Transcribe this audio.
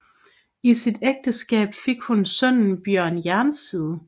I sit ægteskab fik hun sønnen Bjørn Jernside